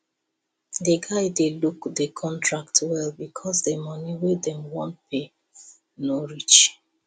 the guy dey look the contract well because the money wey dem wan pay no reach